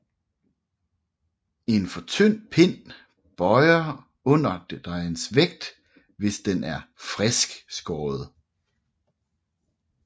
En for tynd pind bøjer under dejens vægt hvis den er friskskåret